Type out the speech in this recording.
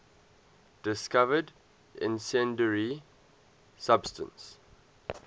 discovered incendiary substance